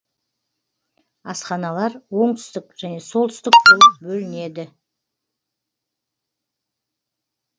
асханалар оңтүстік және солтүстік болып бөлінеді